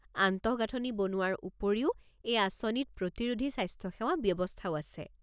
আন্তঃগাঁথনি বনোৱাৰ উপৰিও, এই আঁচনিত প্ৰতিৰোধী স্বাস্থ্যসেৱা ব্যৱস্থাও আছে।